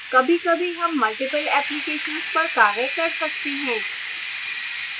कभीकभी हम multiple applications पर कार्य कर सकते हैं